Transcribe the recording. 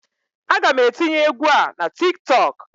Aga m etinye egwu a na Tik tọk.